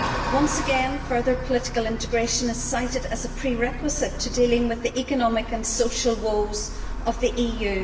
Once again, further political integration is cited as a prerequisite for dealing with the economic and social woes of the EU.